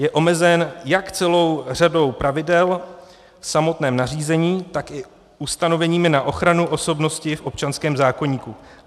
Je omezen jak celou řadou pravidel v samotném nařízení, tak i ustanoveními na ochranu osobnosti v občanském zákoníku.